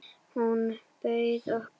Hún bauð okkur.